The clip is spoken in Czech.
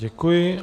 Děkuji.